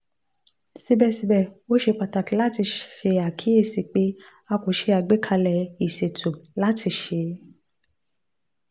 sibẹsibẹ o ṣe pataki lati ṣe akiyesi pe a ko ṣe agbekalẹ iṣeto holdco lati ṣe